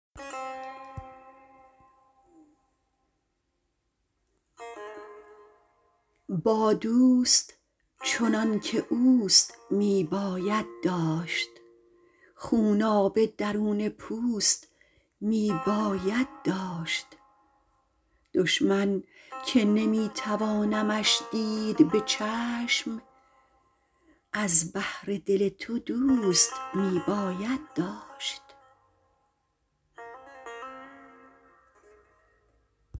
با دوست چنان که اوست می باید داشت خونابه درون پوست می باید داشت دشمن که نمی توانمش دید به چشم از بهر دل تو دوست می باید داشت